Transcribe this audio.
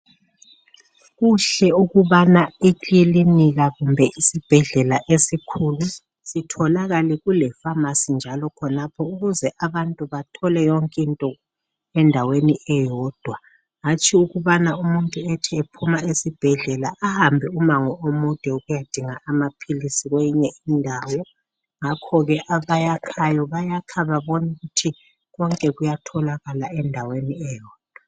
Kuhle ukubana ikilinika kumbe isibhedlela esikhulu sitholakale kulefamasi njalo khonapho ukuze abantu bathole yonke into endaweni eyodwa hatshi ukubana umuntu ethi ephuma esibhedlela ahambe umango omude ukuyadinga amaphilisi kweyinye indawo ngakhoke abayakhayo bayakha bebona ukuthi kuyatholakala endaweni eyodwa.